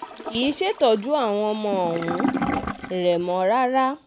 kì í ṣètọ́jú àwọn ọmọ um rẹ mọ́ rárá